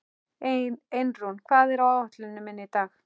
Einrún, hvað er á áætluninni minni í dag?